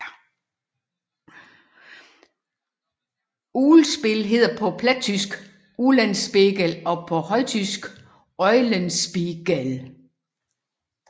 Uglspil hedder på plattysk Ulenspegel og på højtysk Eulenspiegel